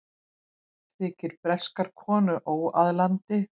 Þykir breskar konur óaðlaðandi